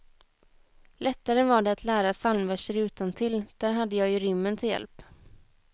Lättare var det att lära psalmverser utantill, där hade jag ju rimmen till hjälp.